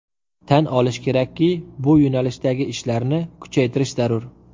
Tan olish kerakki, bu yo‘nalishdagi ishlarni kuchaytirish zarur.